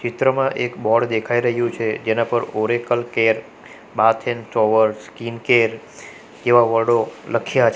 ચિત્રમાં એક બોર્ડ દેખાઈ રહ્યું છે જેના પર Oracle care bath and shower skin care એવા વર્ડો લખ્યા છે.